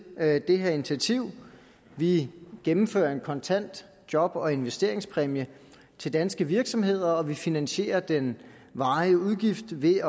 af det her initiativ vi gennemfører en kontant job og investeringspræmie til danske virksomheder og vi finansierer den varige udgift ved